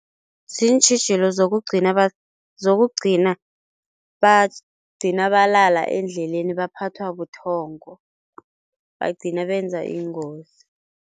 Ziintjhijilo zokugcina zokugcina bagcina balala endleleni baphathwa buthongo, bagcina benza iingozi.